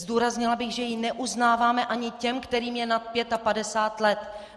Zdůraznila bych, že ji neuznáváme ani těm, kterým je nad 55 let.